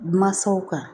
Mansaw kan